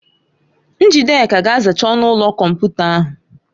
Njideka ga-azacha ọnụ ụlọ kọmputa ahụ.